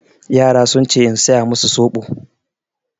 Yara sun ce in saya masu soɓo.